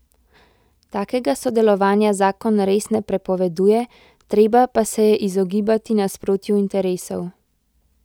Takega sodelovanja zakon res ne prepoveduje, treba pa se je izogibati nasprotju interesov.